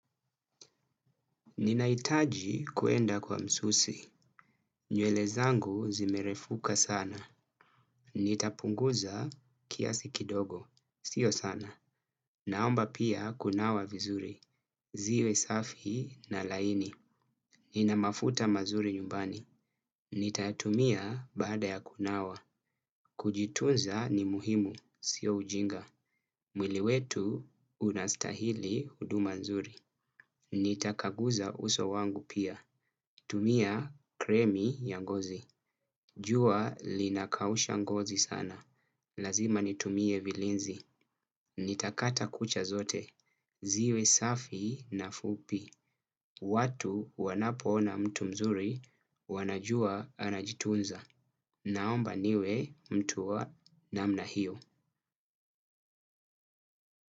Ninaitaji kuenda kwa msusi. Nyele zangu zimerefuka sana. Nitapunguza kiasi kidogo. Sio sana. Naomba pia kunawa vizuri. Ziwe safi na laini. Nina mafuta mazuri nyumbani. Nitatumia bada ya kunawa. Kujitunza ni muhimu. Sio ujinga. Mwili wetu unastahili huduma nzuri. Nitakaguza uso wangu pia. Tumia kremi ya ngozi. Jua linakausha ngozi sana. Lazima nitumie vilinzi. Nitakata kucha zote. Ziwe safi na fupi. Watu wanapona mtu mzuri wanajua anajitunza. Naomba niwe mtu wa namna hio.